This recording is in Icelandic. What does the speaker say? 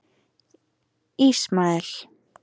Ismael